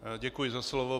Děkuji za slovo.